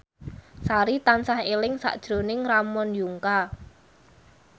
Sari tansah eling sakjroning Ramon Yungka